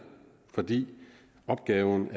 fordi opgaven